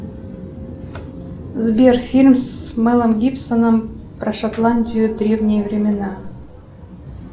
сбер фильм с мелом гибсоном про шотландию древние времена